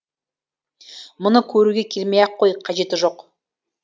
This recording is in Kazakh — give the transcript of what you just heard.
мұны көруге келмей ақ қой қажеті жоқ